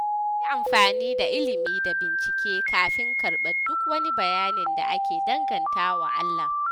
Ayi amfani da ilimi da bincike kafin karɓar duk wani bayani da ake danganta wa Allah.